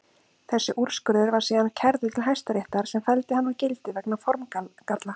Þessi úrskurður var síðan kærður til Hæstaréttar sem felldi hann úr gildi vegna formgalla.